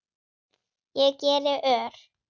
Ég geri ör